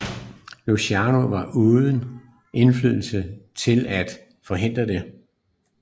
Luciano var uden indflydelse til at forhindre det